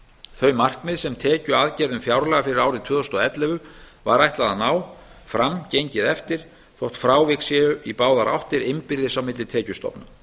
þau markmið sem tekjuaðgerðum fjárlaga fyrir árið tvö þúsund og ellefu var ætlað að ná fram gengið eftir þótt frávik séu í báðar áttir innbyrðis á milli tekjustofna